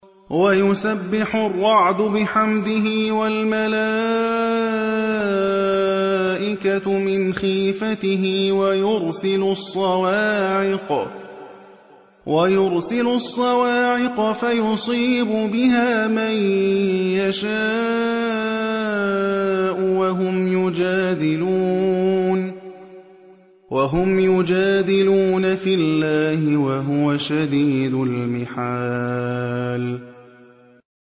وَيُسَبِّحُ الرَّعْدُ بِحَمْدِهِ وَالْمَلَائِكَةُ مِنْ خِيفَتِهِ وَيُرْسِلُ الصَّوَاعِقَ فَيُصِيبُ بِهَا مَن يَشَاءُ وَهُمْ يُجَادِلُونَ فِي اللَّهِ وَهُوَ شَدِيدُ الْمِحَالِ